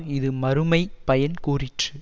இது மறுமை பயன் கூறிற்று